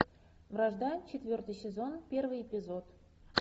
вражда четвертый сезон первый эпизод